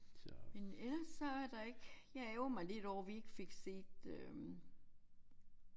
Men ellers så er der ikke jeg ærgrer mig lidt over vi ikke fik set øh